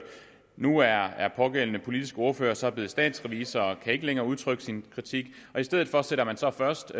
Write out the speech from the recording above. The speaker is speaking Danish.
nu er pågældende politiske ordfører så blevet statsrevisor og kan ikke længere udtrykke sin kritik og i stedet for sender man så først